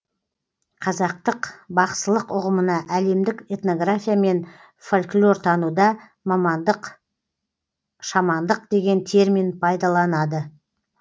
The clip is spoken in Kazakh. қазақтық бақсылық ұғымына әлемдік этнография мен фольклортануда шамандық деген термин пайдаланады